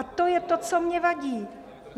A to je to, co mně vadí.